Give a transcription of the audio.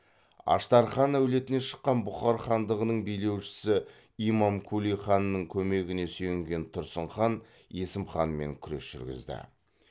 аштархан әулетінен шыққан бұхар хандығының билеушісі имамкули ханның көмегіне сүйенген тұрсын хан есім ханмен күрес жүргізді